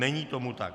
Není tomu tak.